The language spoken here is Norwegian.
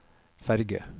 ferge